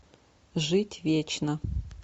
жить вечно